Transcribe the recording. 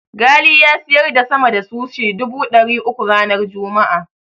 Ghali ya siyar da sama da sushi dubu ɗari uku ranar Juma'a.